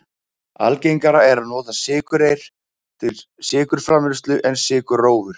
Algengara er að nota sykurreyr til sykurframleiðslu en sykurrófur.